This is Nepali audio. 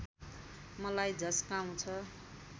मलाई झस्काउँछ